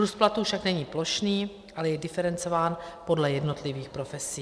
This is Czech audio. Růst platů však není plošný, ale je diferencován podle jednotlivých profesí.